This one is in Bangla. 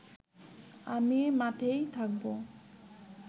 আমি মাঠেই থাকব